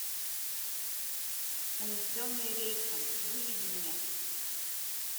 унесенные рейсом выведи мне